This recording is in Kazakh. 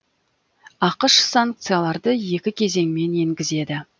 ақш санкцияларды екі кезеңмен енгізеді